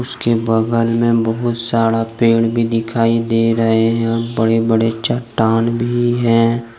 उसके बगल में बहुत सारा पेड़ भी दिखाई दे रहे हैंबड़े बड़े चट्टान भी हैं।